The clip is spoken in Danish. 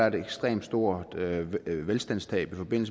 et ekstremt stort velstandstab hvad